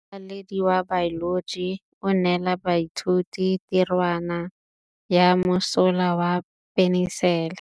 Motlhatlhaledi wa baeloji o neela baithuti tirwana ya mosola wa peniselene.